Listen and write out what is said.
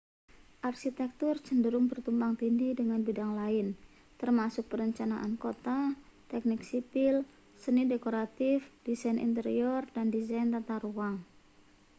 arsitektur cenderung bertumpang-tindih dengan bidang lain termasuk perencanaan kota teknik sipil seni dekoratif desain interior dan desain tata ruang